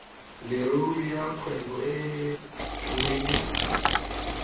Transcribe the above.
leruri ya kgwebo e leng